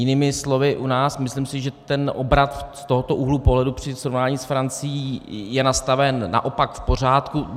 Jinými slovy u nás, myslím si, že ten obrat z tohoto úhlu pohledu při srovnání s Francií je nastaven naopak v pořádku.